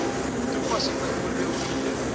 toepassing bv id